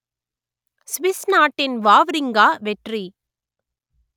Swiss நாட்டின் Wawrinka வெற்றி